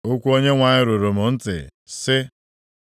Okwu Onyenwe anyị ruru m ntị, sị,